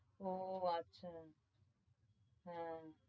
ও আচ্ছা হ্যাঁ